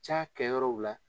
Ca kɛ yɔrɔw la